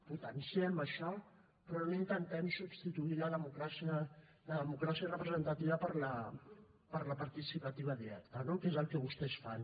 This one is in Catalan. potenciem això però no intentem substituir la democràcia representativa per la participativa directa no que és el que vostès fan